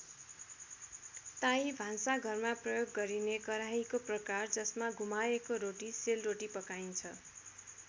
ताई भान्सा घरमा प्रयोग गरिने कराहीको प्रकार जसमा घुमाएको रोटी सेल रोटी पकाइन्छ।